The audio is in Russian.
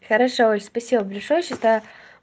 хорошо ой спасибо большое